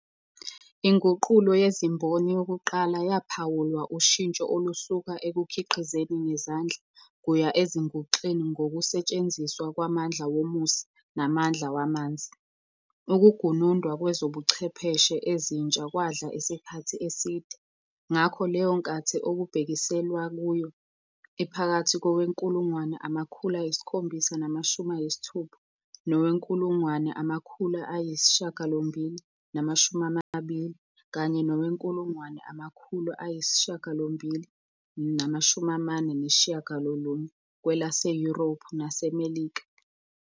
INguqulo yeziMboni yokuqala yaphawulwa ushintsho olusuka ekukhiqizeni ngezandla kuya ezinguxeni ngokusetshenziswa kwamandla womusi namandla wamanzi. Ukugunundwa kwezobuchwepheshe ezintsha kwadla isikhathi eside, ngakho leyo nkathi okubhekiselwa kuyo iphakathi kowe-1760 nowe-1820, kanye nowe-1849 kwelaseYurophu naseMelika.